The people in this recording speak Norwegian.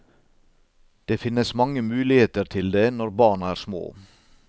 Det finnes mange muligheter til det når barna er små.